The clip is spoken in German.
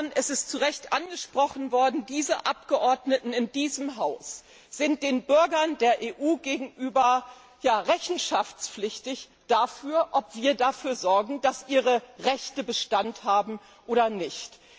Es ist zu Recht angesprochen worden Wir Abgeordnete in diesem Haus sind den Bürgern der EU gegenüber ja rechenschaftspflichtig dafür, ob wir dafür sorgen, dass ihre Rechte Bestand haben oder nicht.